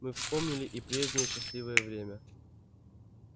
мы вспомнили и прежнее счастливое время